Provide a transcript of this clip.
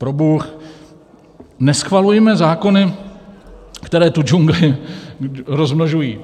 Probůh, neschvalujme zákony, které tu džungli rozmnožují.